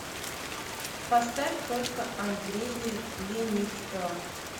поставь только андрея леницкого